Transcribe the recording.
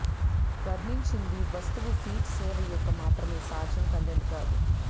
వర్ణించింది వస్తువు ఫీడ్ సేవ యొక్క మాత్రమే సాధ్యం కంటెంట్ కాదు